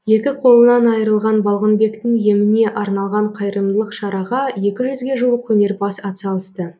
екі қолынан айырылған балғынбектің еміне арналған қайырымдылық шараға екі жүзге жуық өнерпаз атсалысты